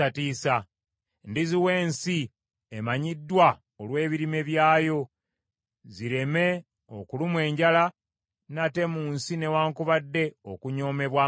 Ndiziwa ensi emanyiddwa olw’ebirime byayo, zireme okulumwa enjala nate mu nsi newaakubadde okunyoomebwa amawanga.